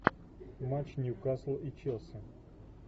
матч ньюкасл и челси